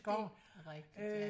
Det er rigtigt ja